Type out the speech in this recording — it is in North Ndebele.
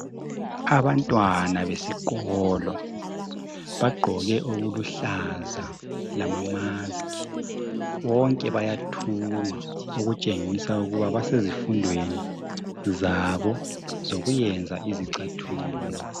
abantwana besikolo bagqike okuluhlaza lama maski bonke bayathunga okutshengisela ukuthi basezifundweni zabo zokuyenza izicathulo